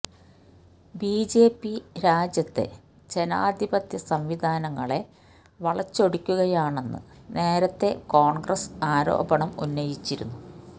BJP രാജ്യത്തെ ജനാധിപത്യ സംവിധാനങ്ങളെ വളച്ചൊടിക്കുകയാണെന്ന് നേരത്തേ കോണ്ഗ്രസ് ആരോപണം ഉന്നയിച്ചിരുന്നു